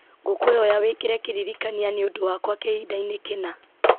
ngũkwĩhoya wĩkĩre kĩririkania nĩũndũ wakwa kĩhinda-inĩ kĩna